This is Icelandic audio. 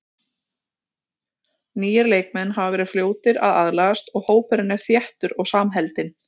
Nýir leikmenn hafa verið fljótir að aðlagast og hópurinn er þéttur og samheldinn.